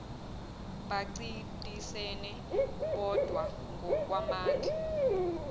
bancintisane bodwa ngokwamandla